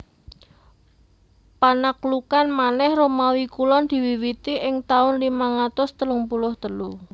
Panaklukan manèh Romawi Kulon diwiwiti ing taun limang atus telung puluh telu